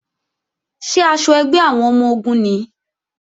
Ṣé aṣọ ẹgbẹ́ àwọn ọmọ-ogun nìí?